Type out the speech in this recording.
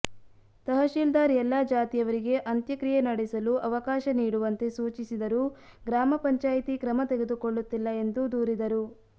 ತಹಶೀಲ್ದಾರ್ ಎಲ್ಲ ಜಾತಿಯವರಿಗೆ ಅಂತ್ಯಕ್ರಿಯೆ ನಡೆಸಲು ಅವಕಾಶ ನೀಡುವಂತೆ ಸೂಚಿಸಿದರೂ ಗ್ರಾಮಪಂಚಾಯಿತಿ ಕ್ರಮ ತೆಗೆದುಕೊಳ್ಳುತ್ತಿಲ್ಲ ಎಂದು ದೂರಿದರು